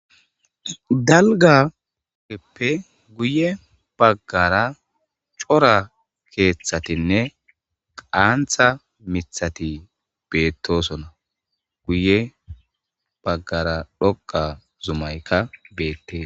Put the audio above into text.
dalgageppe guye baggara cora keeththatinne qaantha mithati beettosona guye baggara dhoqa zumaykka beette